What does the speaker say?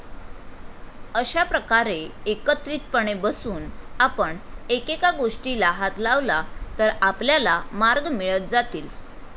अशा प्रकारे एकत्रितपणे बसून आपण एकेका गोष्टीला हात लावला तर आपल्याला मार्ग मिळत जातील.